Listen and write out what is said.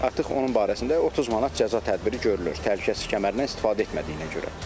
Artıq onun barəsində 30 manat cəza tədbiri görülür, təhlükəsizlik kəmərindən istifadə etmədiyinə görə.